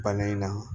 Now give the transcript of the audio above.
Bana in na